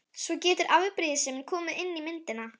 Svo getur afbrýðisemin komið inn í myndina.